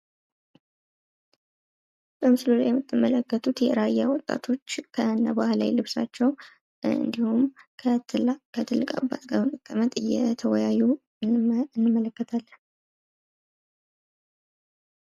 በምስሉ ላይ የምትመለከቱት የራያ ወጣቶች ከነባህላዊ ልብሳቸው እንድሁም ከትልቅ አባት ጋር ሁነው በመቀመጥ እየተወያዩ እንመለከታለን።